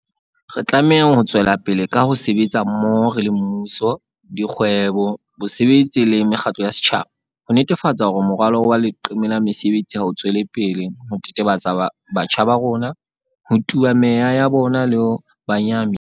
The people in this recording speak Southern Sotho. Re tlameha ho tswelapele ka ho sebetsa mmoho re le mmuso, dikgwebo, bosebetsi le mekgatlo ya setjhaba, ho netefatsa hore morwalo wa leqeme la mesebetsi ha o tswele pele ho tetebetsa batjha ba rona, ho tuba meya ya bona le ho ba nyahamisa.